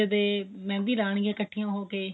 ਮਹਿੰਦੀ ਲਾਉਣੀ ਇੱਕਠੀਆਂ ਹੋਕੇ